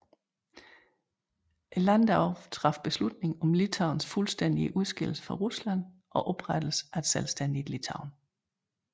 Landdagen traf beslutning om Litauens fuldstændige udskillelse fra Rusland og oprettelsen af et selvstændigt Litauen